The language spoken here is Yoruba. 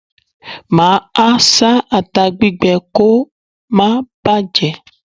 Máa a sá ata gbígbẹ kò máa bàjé.